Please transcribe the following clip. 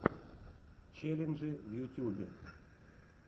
челленджи в ютьюбе